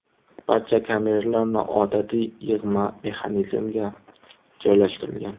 Barcha kameralar noodatiy yig‘ma mexanizmga joylashtirilgan.